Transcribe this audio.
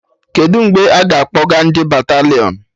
Kedụ mgbe a ga-akpọga ndị batalịọn?